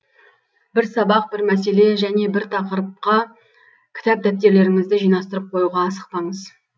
бір сабақ бір мәселе және бір тақырыпқа кітап дәптерлеріңізді жинастырып қоюға асықпаңыз